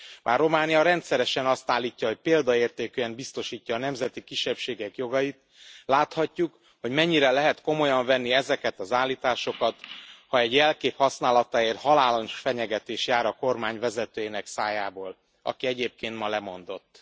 Bár Románia rendszeresen azt állítja, hogy példaértékűen biztosítja a nemzeti kisebbségek jogait, láthatjuk, hogy mennyire lehet komolyan venni ezeket az állításokat, ha egy jelkép használatáért halálos fenyegetés jár a kormány vezetőjének szájából, aki egyébként ma lemondott.